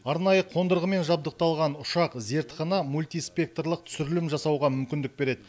арнайы қондырғымен жабдықталған ұшақ зертхана мультиспекторлық түсірілім жасауға мүмкіндік береді